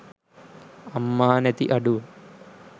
අම්මා නැති අඩුව.